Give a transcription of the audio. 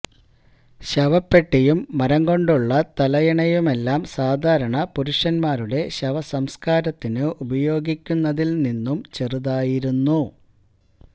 ശവപ്പെട്ടിയും മരംകൊണ്ടുള്ള തലയിണയുമെല്ലാം സാധാരണ പുരുഷന്മാരുടെ ശവസംസ്കാരത്തിന് ഉപയോഗിക്കുന്നതില് നിന്നും ചെറുതായിരുന്നു